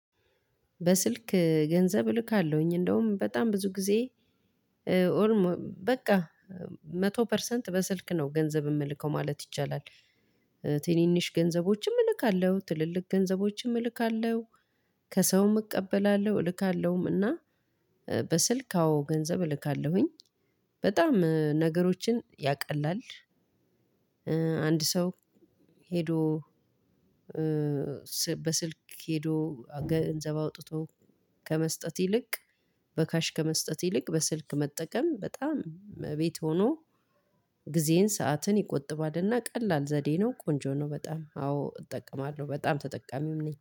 በስልክ ገንዘብ እልካለሁኝ እንደውም በጣም ብዙ ጊዜ በቃ መቶ ፐርሰንት በስልክ ነው ገንዘብ የምልከው ማለት ይቻላል። ትንንሽ ገንዘቦችም እልካለሁ ትልልቅ ገንዘቦችም እልካለሁ። ከሰውም እቀበላለሁ እልካለሁም እና። በስልክ አዎ ገንዘብ እልካለሁኝ። በጣም ነገሮችን ያቀላል። አንድ ሰው። ሄዶ በስልክ ሄዶ ገንዘብ አውጥቶ ከመስጠት ይልቅ በካሽ ከመስጠት ይልቅ በስልክ መጠቀም በጣም እቤት ሆኖ። ጊዜን ሰዓትን ይቆጥባልና ቀላል ዘዴ ነው ቆንጆ ነው። በጣም አዎ እጠቀማለሁ በጣም ተጠቃሚም ነኝ